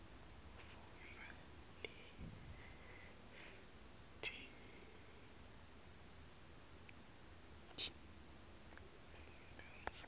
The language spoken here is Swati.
fundza letheksthi lengentasi